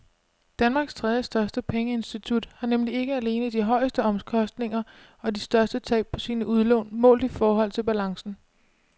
Danmarks tredjestørste pengeinstitut har nemlig ikke alene de højeste omkostninger og de største tab på sine udlån målt i forhold til balancen.